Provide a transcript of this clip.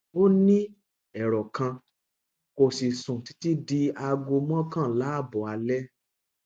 ó ní ẹrọ kan kò sì sùn títí di aago mọkànlá ààbò alé